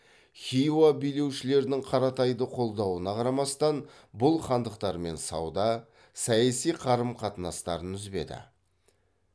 хиуа билеушілерінің қаратайды қолдауына қарамастан бұл хандықтармен сауда саяси қарым қатынастарын үзбеді